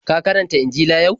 Ka karanta Injila yau?